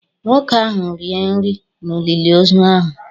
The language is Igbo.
Nwoke ahụ rie nri n’olili ozu ahụ